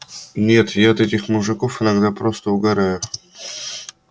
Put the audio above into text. нет я от этих мужиков иногда просто угораю